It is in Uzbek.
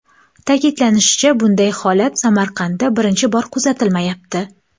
Ta’kidlanishicha, bunday holat Samarqandda birinchi bor kuzatilmayapti.